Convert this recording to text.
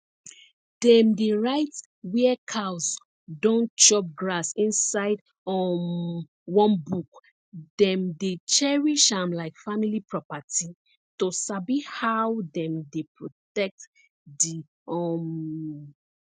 dem dey write where cows don chop grass inside um one book dem dey cherish am like family property to sabi how dem dey protect the um